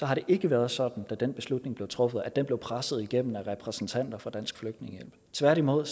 har det ikke været sådan da den beslutning blev truffet at den blev presset igennem af repræsentanter fra dansk flygtningehjælp tværtimod